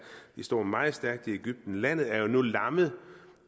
de står meget stærkt i egypten landet er jo nu lammet